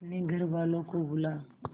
अपने घर वालों को बुला